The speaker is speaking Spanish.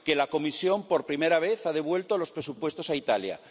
que la Comisión, por primera vez, ha devuelto los presupuestos a Italia